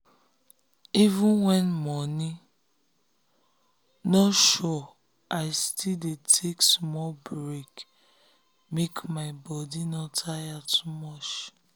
even when money no sure i still dey take small break make my body no tire too much.